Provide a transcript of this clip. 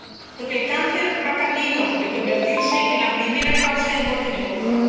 Porque el cáncer va camino de convertirse en la primera causa de muerte en Europa.